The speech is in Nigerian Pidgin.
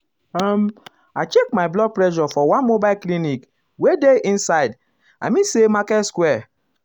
um i check my blood pressure for one mobile clinic wey dey inside i mean say market square. market square.